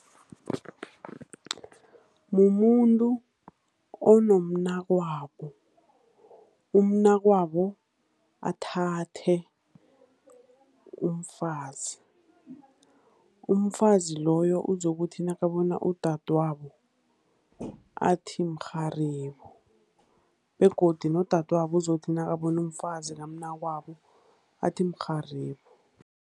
Mumuntu onomnakwabo, umnakwabo athathe umfazi. Umfazi loyo uzokuthi nakabona udadwabo, athi mrharibo, begodu nodadwabo uzokuthi nakabona umfazi kamnakwabo, athi mrharibo.